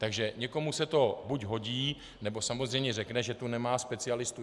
Takže někomu se to buď hodí, nebo samozřejmě řekne, že tu nemá specialistu.